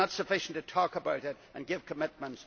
It is not sufficient to talk about it and make a commitment